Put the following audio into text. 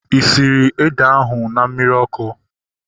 Ị sịrị ede ahu na mmiri ọkụ?